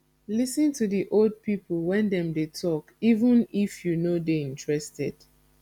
lis ten to di old pipo when dem dey talk even if you no dey interested